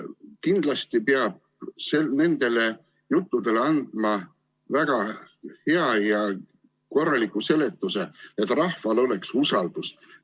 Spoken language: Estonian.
Kindlasti peab nendele juttudele andma väga hea ja korraliku seletuse, et rahval oleks usaldus.